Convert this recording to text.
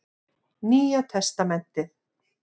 Nýja testamentið.